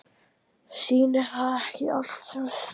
Sýnir það ekki allt sem sýna þarf?